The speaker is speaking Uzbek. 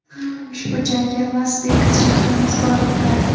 Ushbu jangga Las-Vegas shahri mezbonlik qiladi.